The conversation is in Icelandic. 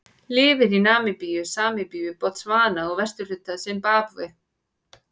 Lifir í Namibíu, Sambíu, Botsvana og vesturhluta Simbabve.